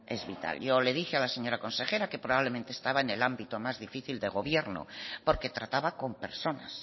es vital yo le dije a la señora consejera que probablemente estaba en el ámbito más difícil de gobierno porque trataba con personas